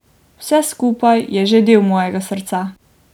Vse skupaj je že del mojega srca.